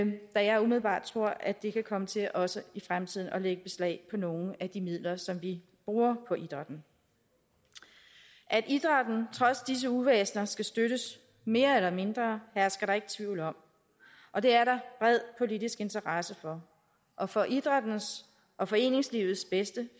da jeg umiddelbart tror at det kan komme til også i fremtiden at lægge beslag på nogle af de midler som vi bruger på idrætten at idrætten trods disse uvæsener skal støttes mere eller mindre hersker der ikke tvivl om og det er der bred politisk interesse for og for idrættens og foreningslivets bedste